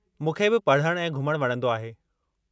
मूंखे बि पढ़णु ऐं घुमणु वणंदो आहे।